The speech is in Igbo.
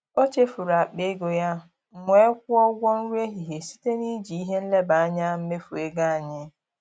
Ọ chefuru akpa ego ya, m wee kwụọ ụgwọ nri ehihie site na iji ihe nleba anya mmefu ego anyị.